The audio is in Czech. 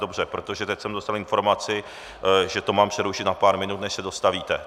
Dobře, protože teď jsem dostal informaci, že to mám přerušit na pár minut, než se dostavíte.